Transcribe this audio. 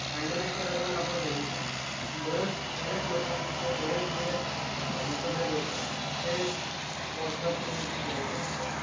Pandemic च्या दरम्यान आपण बघितलच कि बरेच, बऱ्याच लोकांचे बरेच जे मतभेद होते ते व्हाट्सअँप थ्रू केले जायचे.